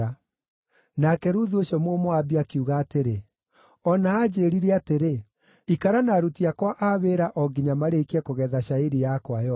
Nake Ruthu ũcio Mũmoabi akiuga atĩrĩ, “O na anjĩĩrire atĩrĩ, ‘Ikara na aruti akwa a wĩra o nginya marĩkie kũgetha cairi yakwa yothe.’ ”